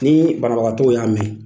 Ni banabagatɔ y'a mɛn